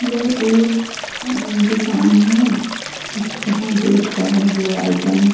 वह एक दूकान है जहा दूध का बना आइटम --